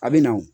A bɛ na o